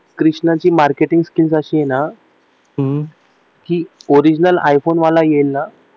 कृष्णाची marketing skills अशी आहे ना ओरिजनल आयफोन वाला येईल ना